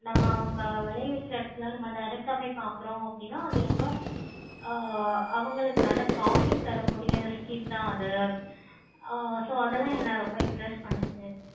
நம்ம அவங்க வளைய வைக்குற எடத்துல நம்ம direct ஆஹ் போய் பார்க்குறோம் அப்படினா ஆஹ் அது ரொம்ப அவங்களுக்கு நல்ல profit தரக்கூடிய scheme தான் அது so அதெல்லாம் என்ன ரொம்ப impress பண்ணுச்சி.